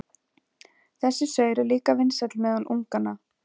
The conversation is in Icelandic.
Þessi saur er líka vinsæll meðal unganna.